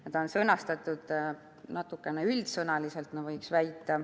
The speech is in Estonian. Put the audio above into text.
See on sõnastatud minu väitel natukene liiga üldsõnaliselt.